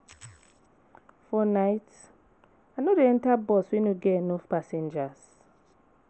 For night, I no dey enta bus wey no get enough passengers.